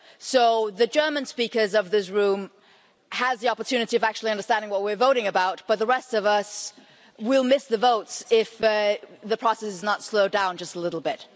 So the German speakers of this room have the opportunity of actually understanding what we're voting about, but the rest of us will miss the votes if the process is not slowed down just a little bit.